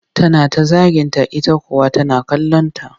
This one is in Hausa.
Tana ta zaginta ita kuwa tana kallonta